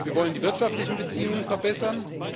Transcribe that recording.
Wir wollen die wirtschaftlichen Beziehungen verbessern.